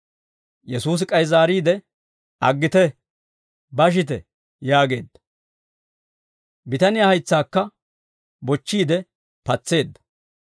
Yesuusi k'ay zaariide, «Aggite, bashite» yaageedda. Bitaniyaa haytsaakka bochchiide patseedda.